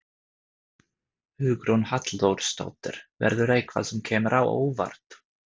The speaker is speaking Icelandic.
Hugrún Halldórsdóttir: Verður eitthvað sem kemur á óvart?